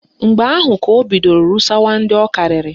Mgbe ahụ ka o bidoro rụsawa ndị ọ karịrị